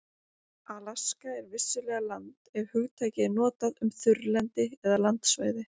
Alaska er vissulega land ef hugtakið er notað um þurrlendi eða landsvæði.